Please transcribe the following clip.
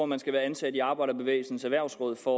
man skal være ansat i arbejderbevægelsens erhvervsråd for